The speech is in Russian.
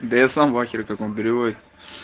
да я сам в ахере как он переводит